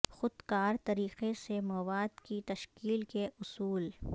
خود کار طریقے سے مواد کی تشکیل کے اصول